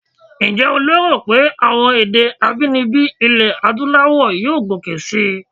Ǹjẹ́ o lérò pé àwọn èdè abínibí ilẹ̀ Adúláwọ̀ yóò gòkè síi?